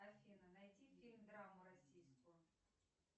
афина найди фильм драму российскую